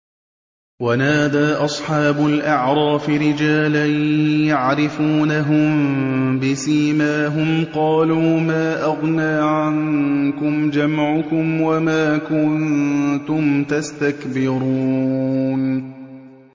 وَنَادَىٰ أَصْحَابُ الْأَعْرَافِ رِجَالًا يَعْرِفُونَهُم بِسِيمَاهُمْ قَالُوا مَا أَغْنَىٰ عَنكُمْ جَمْعُكُمْ وَمَا كُنتُمْ تَسْتَكْبِرُونَ